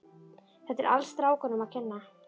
Þetta er allt strákunum að kenna.